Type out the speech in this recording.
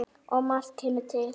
Og margt kemur til.